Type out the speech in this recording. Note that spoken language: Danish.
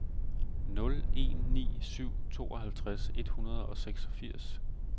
nul en ni syv tooghalvtreds et hundrede og seksogfirs